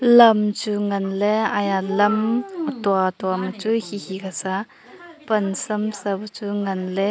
lamchu nganley aya lam atua tua ma chu hihi kasa pansam sa bu chu nganley.